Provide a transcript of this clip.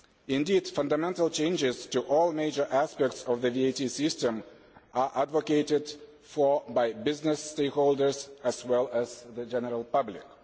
Indeed fundamental changes to all major aspects of the VAT system are advocated by business stakeholders as well as the general public.